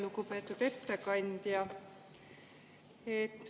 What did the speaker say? Lugupeetud ettekandja!